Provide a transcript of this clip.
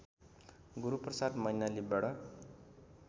Guruprasad मैनालीबाट